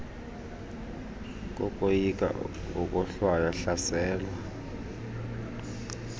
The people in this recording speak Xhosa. kokoyika ukohlwaywa hlaselwa